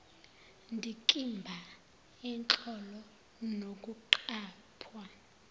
ndikimba yenhlolo nokuqaphwa